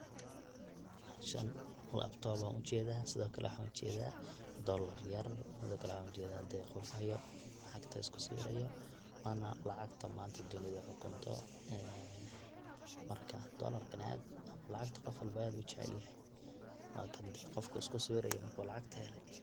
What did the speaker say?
Meshan laptop ayan ujedaa sidokale waxan ujedaa dolar yar sidokale waxan ujedaa dee qof haayo lacagta isku sawirayo wana lacagta manta dunida xukunto ee marka dolarka aad lacagta qofka walbo aad buu ujecelyahah wakan dee qofka iskusawirayo oo lacagta hele.